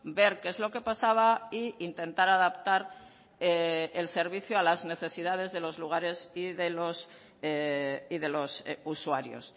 ver qué es lo que pasaba e intentar adaptar el servicio a las necesidades de los lugares y de los usuarios